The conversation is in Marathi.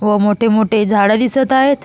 व मोठे मोठे झाड दिसत आहेत.